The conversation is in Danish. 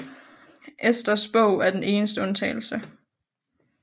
Esters bog er den eneste undtagelse